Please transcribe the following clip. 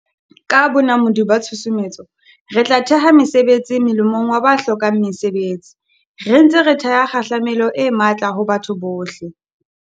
Ka bonamodi ba tshusumetso, re tlo theha mesebetsi molemong wa ba hlokang mesebetsi, re ntse re theha kgahlamelo e matla ho batho bohle.